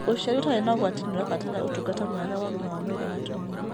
ũciara ũtarĩ na ũgwati nĩũrabatara ũtungata mwega wa ũgima wa mwĩrĩ wa atumia